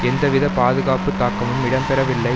எந்தவித பாதுகாப்பு தாக்கமும் இடம்பெறவில்லை